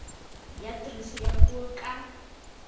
ya tiriso ya puo ka